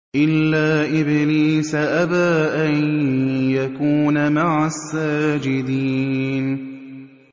إِلَّا إِبْلِيسَ أَبَىٰ أَن يَكُونَ مَعَ السَّاجِدِينَ